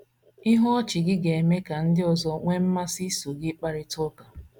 Ihu ọchị gị ga - eme ka ndị ọzọ nwee mmasị iso gị kparịta ụka.